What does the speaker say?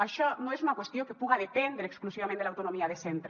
això no és una qüestió que puga dependre exclusivament de l’autonomia de cen tre